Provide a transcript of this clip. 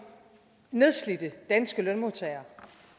nedslidte danske lønmodtagere